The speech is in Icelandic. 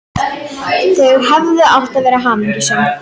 Þau hefðu átt að vera hamingjusöm.